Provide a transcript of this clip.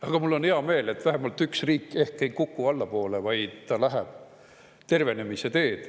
Aga mul on hea meel, et vähemalt üks riik ehk ei kuku allapoole, vaid läheb tervenemise teed.